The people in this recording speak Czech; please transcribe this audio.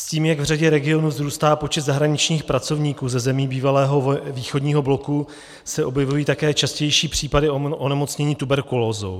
S tím jak v řadě regionů vzrůstá počet zahraničních pracovníků ze zemí bývalého východního bloku, se objevují také častější případy onemocnění tuberkulózou.